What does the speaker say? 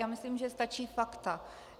Já myslím, že stačí fakta.